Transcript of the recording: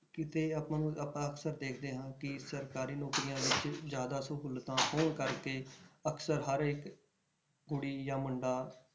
ਕਿਤੇ ਆਪਾਂ ਨੂੰ ਆਪਾਂ ਅਕਸਰ ਦੇਖਦੇ ਹਾਂ ਕਿ ਸਰਕਾਰੀ ਨੌਕਰੀਆਂ ਵਿੱਚ ਜ਼ਿਆਦਾ ਸਹੂਲਤਾਂ ਹੋਣ ਕਰਕੇ ਅਕਸਰ ਹਰ ਇੱਕ ਕੁੜੀ ਜਾਂ ਮੁੰਡਾ